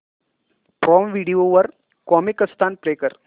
prime video वर Comicstan play कर